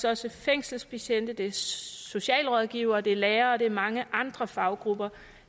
også fængselsbetjente det er socialrådgivere det er lærere og det er mange andre faggrupper